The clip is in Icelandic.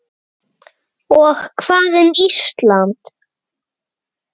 Og hvað um Ísland?